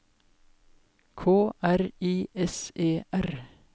K R I S E R